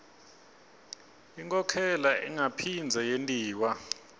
inkhokhela ingaphindze yentiwa